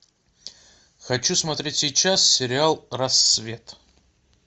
хочу смотреть сейчас сериал рассвет